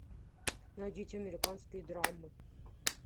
найдите американские драмы